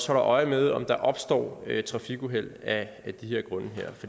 holder øje med om der opstår trafikuheld af